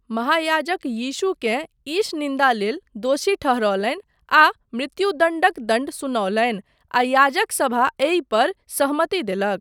महायाजक यीशुकेँ ईशनिन्दा लेल दोषी ठहरौलनि आ मृत्युदण्डक दण्ड सुनौलनि आ याजक सभा एहि पर सहमति देलक।